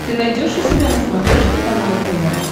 ты найдешь у себя на смотрешке канал нтв